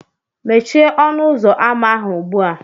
Mechie ọnụ ụzọ ámá ahụ ugbu a!